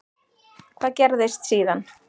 Hvað gerðist síðan?